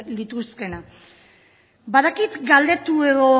lituzkeena badakit galdetu edo